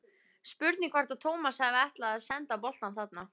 Spurning hvort að Tómas hafi ætlað að senda boltann þarna?